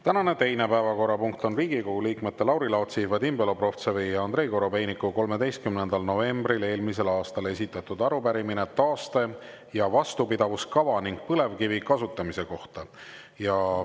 Tänane teine päevakorrapunkt on Riigikogu liikmete Lauri Laatsi, Vadim Belobrovtsevi ja Andrei Korobeiniku 13. novembril eelmisel aastal esitatud arupärimine taaste- ja vastupidavuskava ning põlevkivi kasutamise kohta.